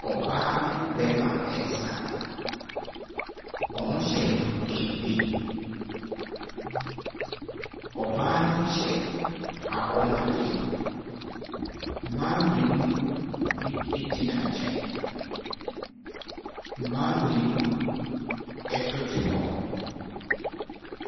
Ↄbaa ne ɔbarima resa. Wɔhyɛ kente. Ↄbaa no hyɛ kɔnmuadeɛ. Mmaa mmienu bi gyina nkyɛn, mmaa mmienu bi nso te hɔ.